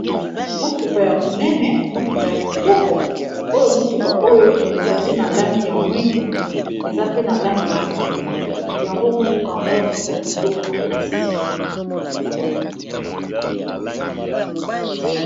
Motuka ya monene, motuka ya kitoko, oyo motuka oyo ezali na langi ya moyindo, eza pe na langi ya mbwe, yango motuka yango eza kitoko makasi .